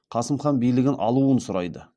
қасым хан билігін алуын сұрайды